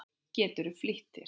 Geturðu flýtt þér.